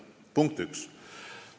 See oli punkt üks.